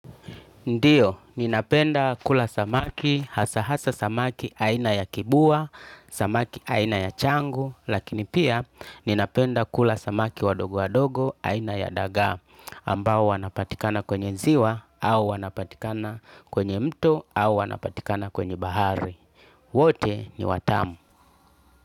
Ndiyo, ninapenda kula samaki, hasa hasa samaki aina ya kibua, samaki aina ya changu, lakini pia ninapenda kula samaki wadogo wadogo aina ya dagaa, ambao wanapatikana kwenye ziwa, au wanapatikana kwenye mto, au wanapatikana kwenye bahari. Wote ni watamu.